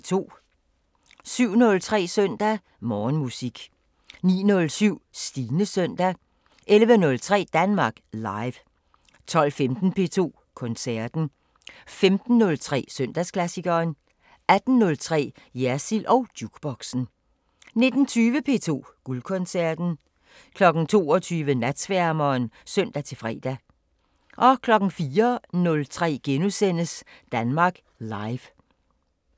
07:03: Søndag Morgenmusik 09:07: Stines Søndag 11:03: Danmark Live 12:15: P2 Koncerten 15:03: Søndagsklassikeren 18:03: Jersild & Jukeboxen 19:20: P2 Guldkoncerten 22:00: Natsværmeren (søn-fre) 04:03: Danmark Live *